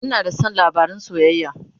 Ina da San labarin soyayya